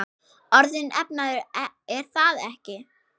Orðinn efnaður, er það ekki?